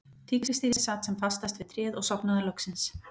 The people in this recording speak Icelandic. Tígrisdýrið sat sem fastast við tréð og sofnaði loksins.